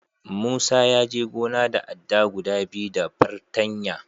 Musa ya je gona da adda guda biyu da fartanya.